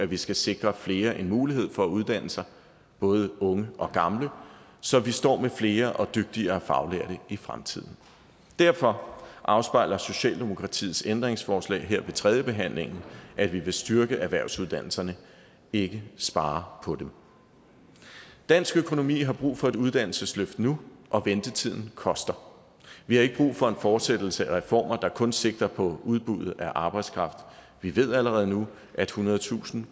vi skal sikre flere en mulighed for at uddanne sig både unge og gamle så vi står med flere og dygtigere faglærte i fremtiden derfor afspejler socialdemokratiets ændringsforslag her ved tredjebehandlingen at vi vil styrke erhvervsuddannelserne ikke spare på dem dansk økonomi har brug for et uddannelsesløft nu og ventetiden koster vi har ikke brug for en fortsættelse af reformer der kun sigter på udbuddet af arbejdskraft vi ved allerede nu at ethundredetusind